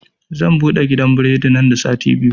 Zan buɗe gidan biredi nan da sati biyu